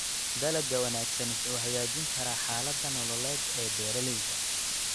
Dalagga wanaagsan wuxuu hagaajin karaa xaaladda nololeed ee beeralayda.